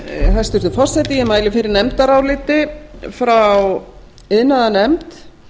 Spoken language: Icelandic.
hæstvirtur forseti ég mæli fyrir nefndaráliti frá iðnaðarnefnd